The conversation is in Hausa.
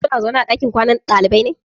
Kuna zaune a ɗakin kwanan ɗalibai ne?